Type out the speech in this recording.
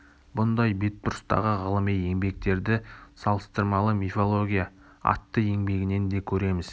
бұндай бетбұрыстағы ғылыми еңбектерді салыстырмалы мифология атты еңбегінен де көреміз